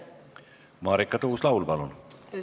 Marika Tuus-Laul, palun!